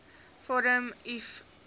vorm uf invul